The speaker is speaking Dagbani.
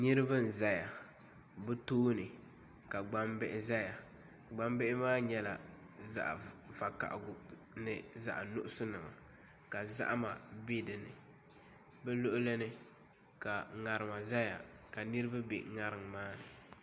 Niraba n ʒɛya bi tooni ka gbambihi ʒɛya gbambihi maa nyɛla zaɣ vakaɣali ni zaɣ nuɣso nima ka zahama bɛ dinni bi luɣuli ni ka ŋarima ʒɛya ka niraba bɛ ŋarim maa ni